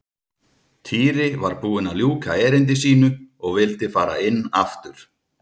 Týri var búinn að ljúka erindi sínu og vildi fara inn aftur.